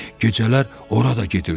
Gecələr ora da gedirdi.